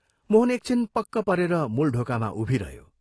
मोहन एक छिन पक्क परेर मूल ढोकामा उभिरह्यो।